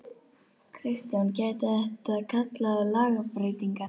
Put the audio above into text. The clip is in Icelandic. Kristján: Gæti þetta kallað á lagabreytingar?